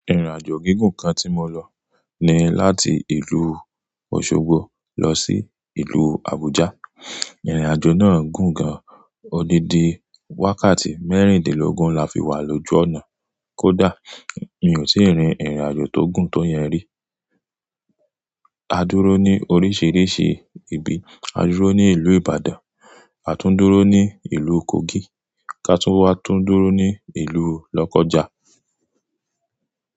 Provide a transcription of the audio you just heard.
Ìrìnàjò gígùn kan tí mo lọ ni láti ìlú Osogbo lọ sí ìlú Abuja. Ìrìnàjò náà gùn gan, odidi wákàtí mẹ́rìndínlógún la fi wá lojú ọ̀nà. Kódà mi ò tíì rin ìrìnàjò tó gùn tó yẹn rí. A dúró ní oríṣìíríṣìí ibi, a dúró ní ìlú Ibadan, a tún dúró ní ìlú Kogi, ká tún wá tún dúró ní ìlú Lọ́kọ́ja.